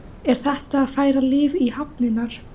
Er þetta að færa líf í hafnirnar?